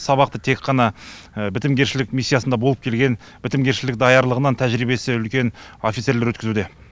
сабақты тек қана бітімгершілік миссиясында болып келген бітімгершілік даярлығынан тәжірибесі үлкен офицерлер өткізуде